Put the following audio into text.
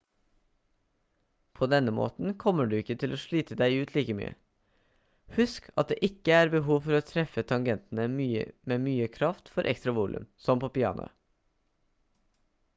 på denne måten kommer du ikke til å slite deg ut like mye husk at det ikke er behov for å treffe tangentene med mye kraft for ekstra volum som på pianoet